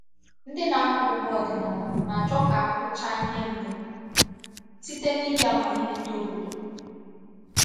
Ndị na-akọ ugbo ọdịnala na-achọ ka a kụchaa ihe mbụ site n’iji amamihe ndị obodo.